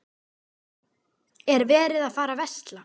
Er verið að fara að versla?